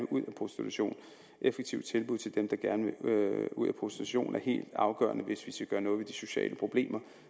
ud af prostitution et effektivt tilbud til dem der gerne vil ud af prostitution er helt afgørende hvis vi skal gøre noget ved de sociale problemer